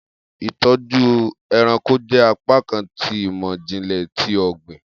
Itọju ẹranko jẹ apakan ti imọ-jinlẹ ti ogbin